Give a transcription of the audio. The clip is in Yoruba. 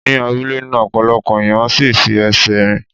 Ni abúlé náà, ọ̀pọ̀lọpọ̀ ẹ̀yàn ń sí ì fi ẹsẹ̀ rìn.